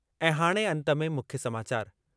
ऐं हाणे अंत में मुख्य समाचार..